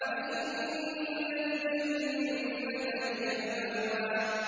فَإِنَّ الْجَنَّةَ هِيَ الْمَأْوَىٰ